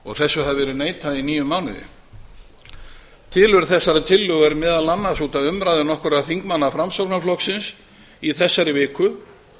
og þessu hafi verið neitað í níu mánuði tilurð þessarar tillögu er meðal annars út af umræðu nokkurra þingmanna framsóknarflokksins í þessari viku